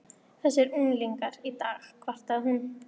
Þessir unglingar í dag kvartaði hún.